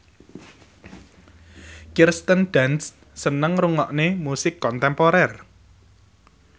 Kirsten Dunst seneng ngrungokne musik kontemporer